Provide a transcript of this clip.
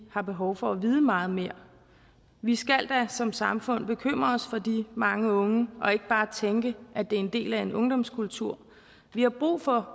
har behov for at vide meget mere vi skal da som samfund bekymre os for de mange unge og ikke bare tænke at det er en del af en ungdomskultur vi har brug for